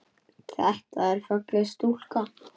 Þetta er falleg stúlka.